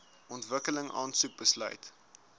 ontwikkeling aansoek besluit